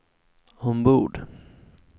ombord